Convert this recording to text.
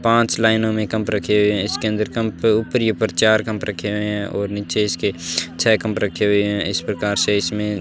पांच लाइनों में कम्प रखे हुए हैं इसके अंदर कम्प उप्रिय पर चार कम्प रखे हुए हैं और नीचे इसके छे कम्प रखे हुए हैं इस प्रकार से इसमें --